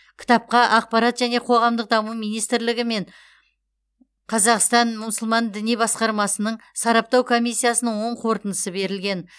кітапқа ақпарат және қоғамдық даму министрлігі мен қазақстан мұсылман діни басқармасының сараптау комиссиясының оң қорытындысы берілген